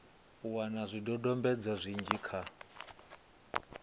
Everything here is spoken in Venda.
u wana zwidodombedzwa zwinzhi kha